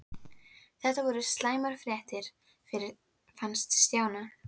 Þetta voru slæmar fréttir, fannst Stjána.